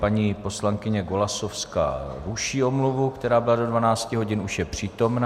Paní poslankyně Golasowská ruší omluvu, která byla do 12 hodin, už je přítomna.